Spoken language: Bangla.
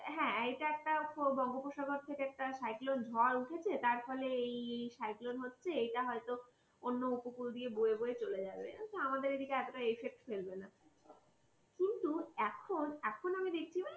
হ্যাঁ এটা একটা বঙ্গোপসাগর থেকে একটা ঝড় উঠেছে তার ফলে এই cyclone হচ্ছে এটা হয়তো অন্য উপকূল দিয়ে বয়ে বয়ে চলে যাবে আমাদের এদিকে এতটা effect ফেলবে না কিন্তু এখন এখন আমি দেখছি